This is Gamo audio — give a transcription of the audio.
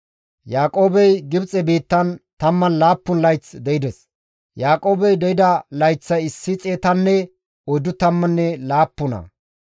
Yaaqoobey Gibxe biittan 17 layth de7ides. Yaaqoobey de7ida layththay issi xeetanne oyddu tammanne laappuna.